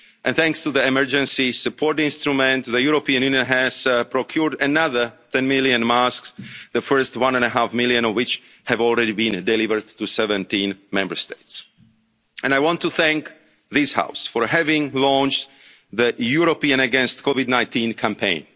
the world. Thanks to the Emergency Support Instrument, the European Union has procured another 10 million masks, the first 1.5 million of which have already been delivered to 17 Member States. I want to thank this House for having launched the Europeans Against COVID-19'